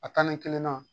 A tani kelen na